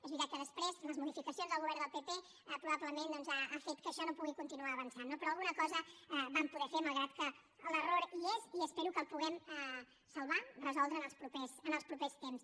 és veritat que després les modificacions del govern del pp probablement han fet que això no pugui continuar avançant però alguna cosa vam poder fer malgrat que l’error hi és i espero que el puguem salvar resoldre en els propers temps